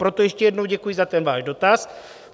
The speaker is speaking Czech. Proto ještě jednou děkuji za ten váš dotaz.